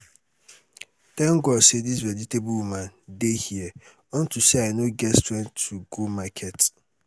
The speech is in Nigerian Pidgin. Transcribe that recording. thank god say dis vegetable woman dey here unto say i no get strength to go market